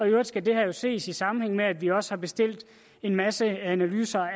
i øvrigt skal det her jo ses i sammenhæng med at vi også har bestilt en masse analyser